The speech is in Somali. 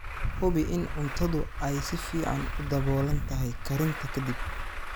Hubi in cuntadu ay si fiican u daboolan tahay karinta ka dib.